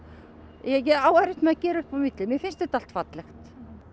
ég á erfitt með að gera upp á milli mér finnst þetta allt fallegt